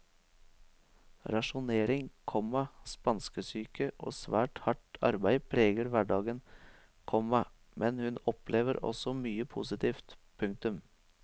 Rasjonering, komma spanskesyke og svært hardt arbeid preger hverdagen, komma men hun opplever også mye positivt. punktum